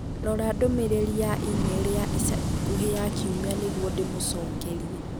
Rora ndũmĩrĩri ya e-mail ya ica ikuhĩ ya kiumia nĩguo ndĩmĩcokerie.